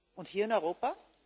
Und hier in Europa?